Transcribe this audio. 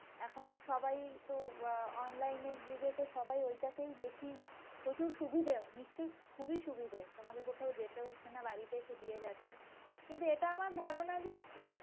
এখন সবাই তো অ্যাঁ online এর যুগে তো সবাই ওইটাকেই বেশি প্রচুর সুবিধে, নিশ্চয়ই খুবই সুবিধা তোমাদের কোথাও যেতে হচ্ছে না বাড়িতে এসে দিয়ে যাচ্ছে, কিন্তু এটা আমার ধারণা যে